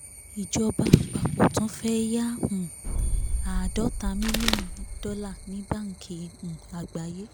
ìjọba àpapọ̀ tún fẹ́ yá um àádọ́ta mílíọ̀nù dọ́là ní báńkì um àgbáyé